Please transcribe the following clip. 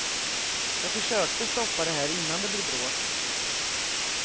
Jag försökte stoppa det här innan det blev bråk.